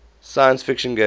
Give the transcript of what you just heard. science fiction genre